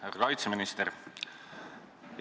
Härra kaitseminister!